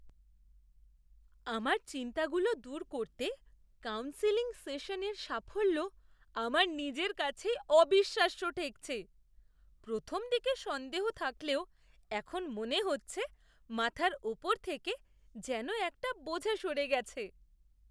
আমার চিন্তাগুলো দূর করতে কাউন্সেলিং সেশনের সাফল্য আমার নিজের কাছেই অবিশ্বাস্য ঠেকছে। প্রথমদিকে সন্দেহ থাকলেও এখন মনে হচ্ছে মাথার ওপর থেকে যেন একটা বোঝা সরে গেছে।